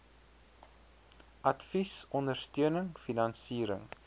advies ondersteuning finansiering